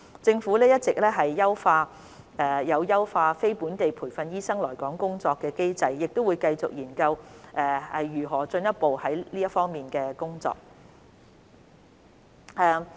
政府一直有優化非本地培訓醫生來港工作的機制，亦會繼續研究如何進一步推行這方面的工作。